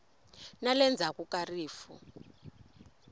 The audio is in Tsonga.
na le ndzhaku ka rifu